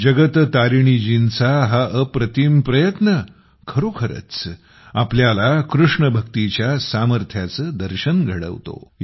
जगत तारिणीजींचा हा अप्रतिम प्रयत्न खरोखरच आपल्याला कृष्णभक्तीच्या सामर्थ्याचे दर्शन घडवतो